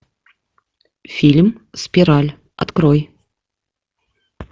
фильм спираль открой